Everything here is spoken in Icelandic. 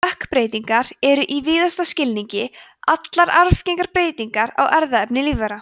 stökkbreytingar eru í víðasta skilningi allar arfgengar breytingar á erfðaefni lífvera